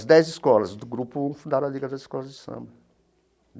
As dez escolas do Grupo um fundaram a Liga das Escolas de Samba.